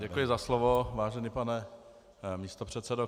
Děkuji za slovo, vážený pane místopředsedo.